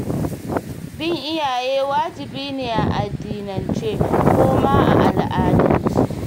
Bin iyaye wajibi ne a addinance, ko ma a al'adance.